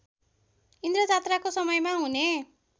इन्द्रजात्राको समयमा हुने